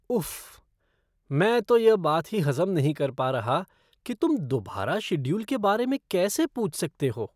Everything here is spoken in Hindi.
उफ़्फ़, मैं तो यह बात ही हज़म नहीं कर पा रहा कि तुम दोबारा शेड्यूल के बारे में कैसे पूछ सकते हो!